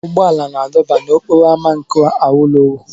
Ụgbọ ala na-adọba n'okporo ámá nke awolowo.